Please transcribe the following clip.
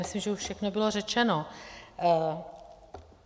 Myslím, že už všechno bylo řečeno.